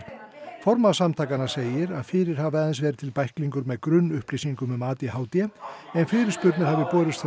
formaður samtakanna segir að fyrir hafi aðeins verið til bæklingur með grunnupplýsingum um a d h d en fyrirspurnir hafi borist frá